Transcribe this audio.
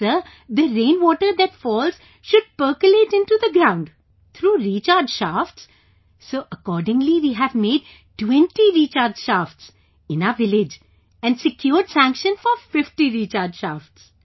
Sir, the rain water that falls should percolate into the ground through recharge shafts... Kalyani ji so accordingly we have made 20 recharge shafts in our village and secured sanction for 50 recharge shafts